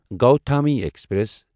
Gautami express